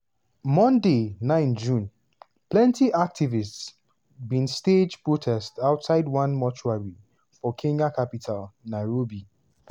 monday 9 june - plenty activists bin stage protest outside one mortuary for kenya capital nairobi.